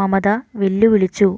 മമത വെല്ലുവിളിച്ചു